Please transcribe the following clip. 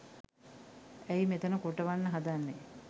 ඇයි මෙතන කොටවන්න හදන්නේ